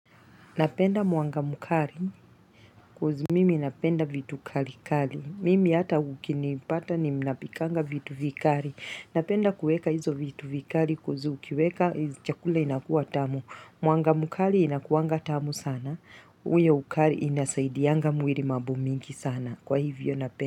Napenda mwanga mkali coz mimi napenda vitu kali kali. Mimi hata ukinipata ninapikanga vitu vikali. Napenda kuweka hizo vitu vikali coz ukiweka chakula inakuwa tamu. Mwanga mkali inakuanga tamu sana. Huyo ukali inasaidianga mwili mambo mingi sana kwa hivyo napenda.